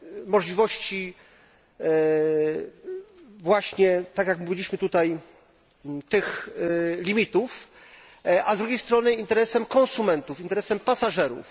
możliwości właśnie tak, jak mówiliśmy tutaj tych limitów, a z drugiej strony interesem konsumentów, interesem pasażerów.